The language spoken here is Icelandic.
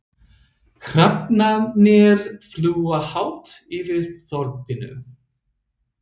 Hrafnarnir fljúga hátt yfir þorpinu.